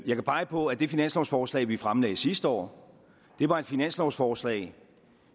jeg kan pege på at det finanslovsforslag vi fremlagde sidste år var et finanslovsforslag